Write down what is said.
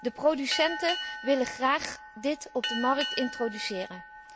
De producenten willen dit graag op de markt introduceren.